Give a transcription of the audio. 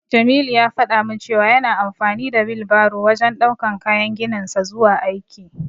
Jamilu ya faɗa min cewa yana amfani da wilbaro wajen ɗaukan kayan gininsa zuwa aiki.